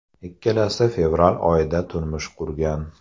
Ikkalasi fevral oyida turmush qurgan.